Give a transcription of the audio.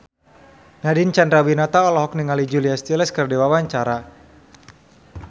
Nadine Chandrawinata olohok ningali Julia Stiles keur diwawancara